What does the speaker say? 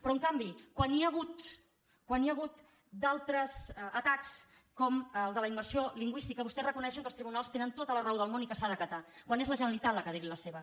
però en canvi quan hi ha hagut d’altres atacs com el de la immersió lingüística vostès reconeixen que els tribunals tenen tota la raó del món i que s’ha d’acatar quan és la generalitat la que ha de dir hi la seva